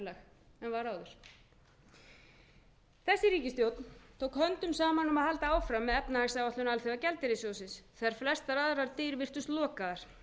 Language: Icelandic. en var áður þessi ríkisstjórn tók höndum saman um að halda áfram með efnahagsáætlun alþjóðagjaldeyrissjóðsins þegar flestar aðrar dyr virtust lokaðar